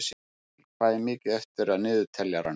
Abel, hvað er mikið eftir af niðurteljaranum?